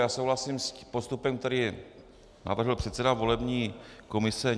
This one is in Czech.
Já souhlasím s postupem, který navrhl předseda volební komise.